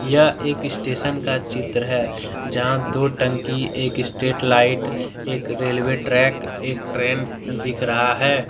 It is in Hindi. यह एक स्टेशन का चित्र है जहां दो टंकी एक स्ट्रेट लाइट एक रेलवे ट्रैक दिख रहा है एक ट्रेन दिख रहा है।